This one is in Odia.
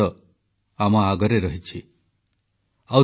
• ଯୁବପିଢ଼ି ସ୍ୱାମୀ ବିବେକାନନ୍ଦଙ୍କ ଆଦର୍ଶରେ ଅନୁପ୍ରାଣିତ ହୁଅନ୍ତୁ